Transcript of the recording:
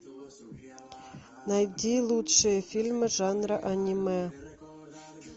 найди лучшие фильмы жанра аниме